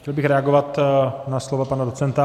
Chtěl bych reagovat na slova pana docenta.